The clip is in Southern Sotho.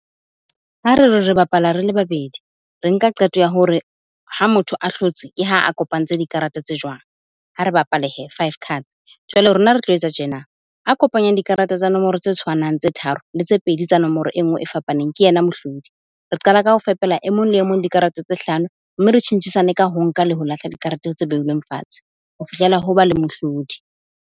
Ha re re re bapala re le babedi, re nka qeto ya hore ha motho a hlotse ke ha a kopantse dikarata tse jwang. Ha re bapale hee five cards jwale rona re tlo etsa tjena, a kopanyang dikarata tsa nomoro tse tshwanang tse tharo le tse pedi tsa nomoro e nngwe e fapaneng, ke yena mohlodi. Re qala ka ho fepela e mong le e mong dikarete tse hlano mme re tjhentjhisane ka ho nka le ho lahla dikarete tse beilweng fatshe, ho fihlela ho ba le mohlodi.